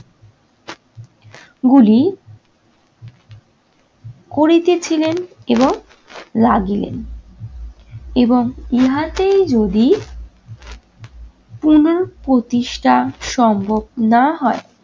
গুলি করিতেছিলেন এবং লাগিলেন এবং ইহাতেই যদি পুনঃপ্রতিষ্ঠা সম্ভব না হয়